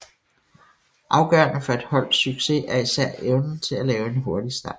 Afgørende for et holds succes er især evnen til at lave en hurtig start